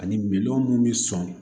Ani minɔnɔ minnu bɛ sɔn